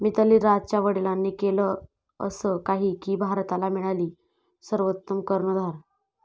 मिताली राजच्या वडिलांनी केलं असं काही की भारताला मिळाली सर्वोत्तम कर्णधार